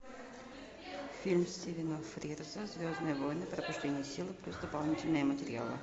фильм стивена фрирза звездные войны пробуждение силы плюс дополнительные материалы